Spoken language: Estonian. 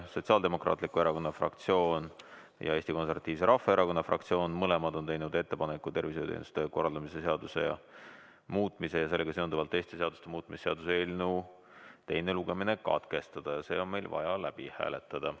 Sotsiaaldemokraatliku Erakonna fraktsioon ja Eesti Konservatiivse Rahvaerakonna fraktsioon on mõlemad teinud ettepaneku tervishoiuteenuste korraldamise seaduse muutmise ja sellega seonduvalt teiste seaduste muutmise seaduse eelnõu teine lugemine katkestada ja see on meil vaja läbi hääletada.